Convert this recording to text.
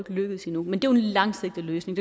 lykkedes endnu men det er en langsigtet løsning